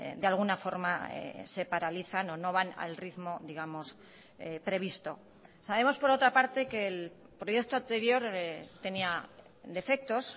de alguna forma se paralizan o no van al ritmo digamos previsto sabemos por otra parte que el proyecto anterior tenía defectos